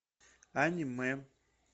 аниме